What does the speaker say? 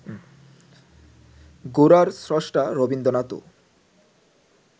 গোরার স্রষ্টা রবীন্দ্রনাথও